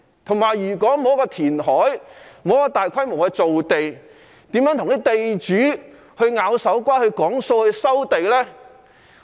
再者，如果不進行填海，沒有大規模造地，如何跟地主"拗手瓜"協商收地呢？